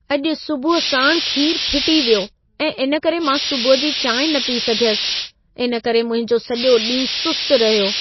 अॼु सुबुह साण खीर फिटी वियो ऐं इन करे मां सुबुह जी चांहिं न पी सघियसि। इन करे मुंहिंजो सॼो ॾींहुं सुस्त रहियो।